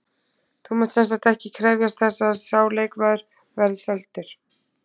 Þú munt semsagt ekki krefjast þess að sá leikmaður verði seldur?